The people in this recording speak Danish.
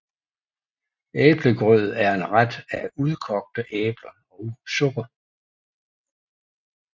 Æblegrød er en ret af udkogte æbler og sukker